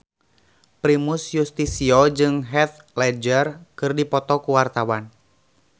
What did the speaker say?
Primus Yustisio jeung Heath Ledger keur dipoto ku wartawan